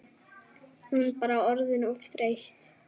Hún bara orðin of þreytt.